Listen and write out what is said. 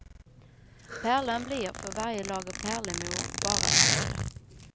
Pärlan blir för varje lager pärlemor bara större.